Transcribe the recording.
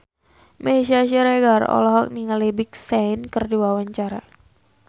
Meisya Siregar olohok ningali Big Sean keur diwawancara